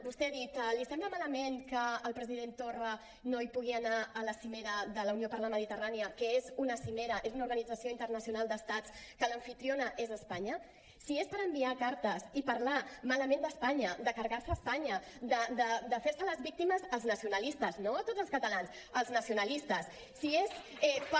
vostè ha dit li sembla malament que el president torra no pugui anar a la cimera de la unió per la mediterrània que és una cimera és una organització internacional d’estats de la qual l’amfitriona és espanya si és per enviar cartes i per parlar malament d’espanya per carregar se espanya per fer se les víctimes els nacionalistes no tots els catalans els nacionalistes si és per